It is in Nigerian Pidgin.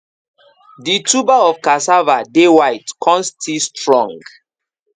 the tuber of casava dey white con still strong